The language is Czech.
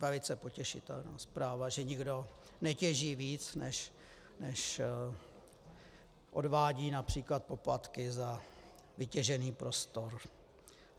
Velice potěšitelná zpráva, že nikdo netěží víc, než odvádí například poplatky za vytěžený prostor.